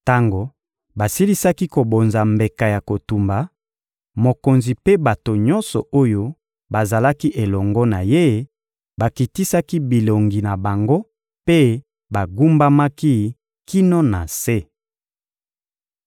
Tango basilisaki kobonza mbeka ya kotumba, mokonzi mpe bato nyonso oyo bazalaki elongo na ye bakitisaki bilongi na bango mpe bagumbamaki kino na se.